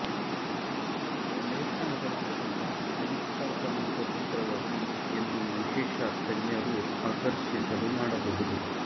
ಲೇಖನಗಳ ಮೂಲಕ ಅನುಸ್ಥಾಪನ ಸ್ವತಂತ್ರವಾಗಿ ಎಂದು ವಿಶೇಷ ತಜ್ಞರು ಆಕರ್ಷಿಸಲು ಮಾಡಬಹುದು